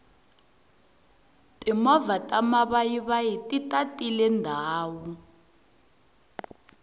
timovha ta mavayivayi ti tatile ndhawu